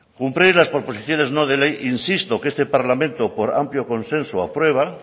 cumplir las proposiciones no de ley insisto que este parlamento por amplio consenso aprueba